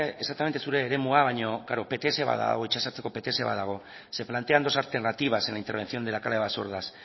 exaktamente zure eremua baino pts ba dago pts bat dago se plantean dos alternativas en la intervención en la cala basordas